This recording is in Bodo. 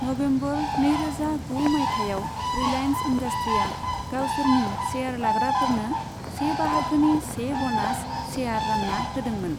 नबेम्बर नैरोजा गु मायथाइयाव, रिलायेन्स इन्डास्ट्रीसआ गावसोरनि शेयार लाग्राफोरनो से बाहागोनि से ब'नास शेयार रानना होदोंमोन।